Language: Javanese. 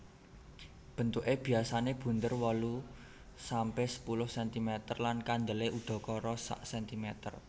Bentuke biasane bunder wolu sampe sepuluh sentimeter lan kandele udakara sak sentimeter